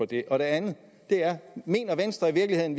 det andet er mener venstre i virkeligheden